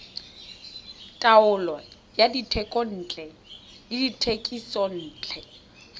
taolo ya dithekontle le dithekisontle